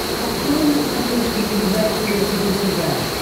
открой на смотрешке передачу ржд тв